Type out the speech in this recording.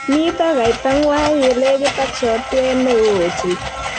Mito kaita ngwang ye lekit ak sotwee ne oo ochei.